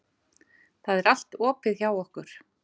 Það er allt opið hjá okkur.